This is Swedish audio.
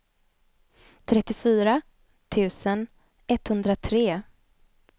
trettiofyra tusen etthundratre